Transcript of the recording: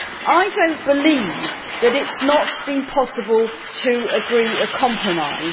I do not believe that it has not been possible to agree a compromise.